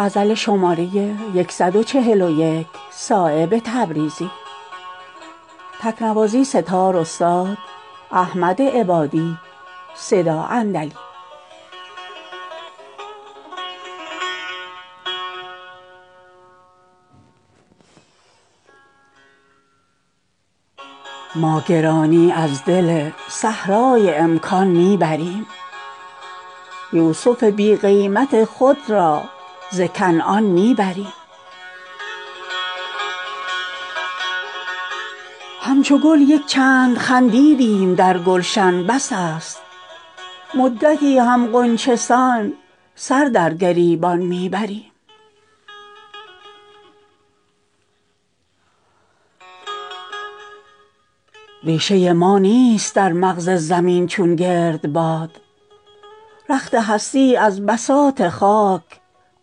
عمری است حلقه در میخانه ایم ما در حلقه تصرف پیمانه ایم ما مقصود ما ز خوردن می نیست بی غمی از تشنگان گریه مستانه ایم ما در چشم ناقصان جهان گرچه نارسیم چون باده جوش سینه میخانه ایم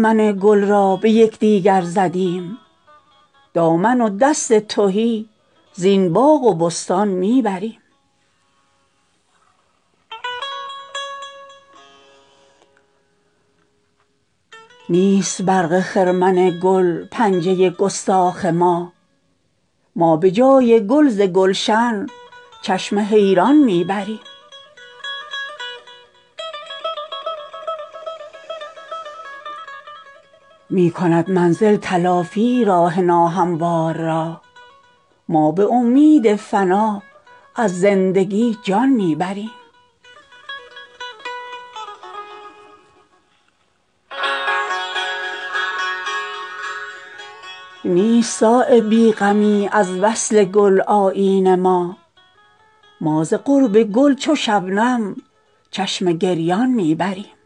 ما عشاق را به تیغ زبان گرم می کنیم چون شمع تازیانه پروانه ایم ما گر از ستاره سوختگان عمارتیم چون جغد خال گوشه ویرانه ایم ما عمری است رفته ایم ازین خاکدان برون بی درد را خیال که در خانه ایم ما چون خواب اگرچه رخت اقامت فکنده ایم تا چشم می زنی به هم افسانه ایم ما از نورسیدگان خرابات نیستیم چون خشت پا شکسته میخانه ایم ما جز جستجوی رزق نداریم هیچ کار چون آسیا به گرد پی دانه ایم ما در مشورت اگرچه گشاد جهان ز ماست سرگشته تر ز سبحه صد دانه ایم ما از ما زبان خامه تکلیف کوته است این شکر چون کنیم که دیوانه ایم ما مهربتان در آب و گل ما سرشته اند صایب خمیر مایه بتخانه ایم ما